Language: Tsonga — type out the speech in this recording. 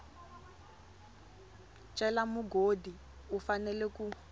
cela mugodi u fanela ku